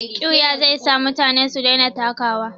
Ƙiuya zai sa mutane su daina takawa.